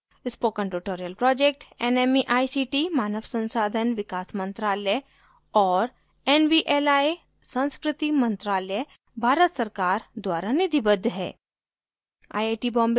spoken tutorial project nmeict मानव संसाधन विकास मंत्रालय और nvli संस्कृति मंत्रालय भारत सरकार द्वारा निधिबद्ध है